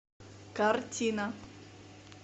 картина